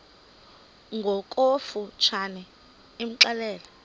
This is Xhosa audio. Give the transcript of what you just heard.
ngokofu tshane imxelele